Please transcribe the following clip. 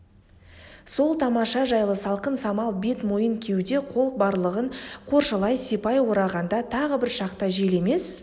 сол тамаша жайлы салқын самал бет мойын кеуде қол барлығын қоршалай сипай орағанда тағы бір шақта жел емес